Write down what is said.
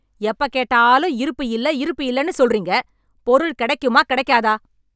எப்ப கேட்டாலும் இருப்பு இல்ல இருப்பு இல்லன்னு சொல்றீங்க, பொருள் கிடைக்குமா கிடைக்காதா?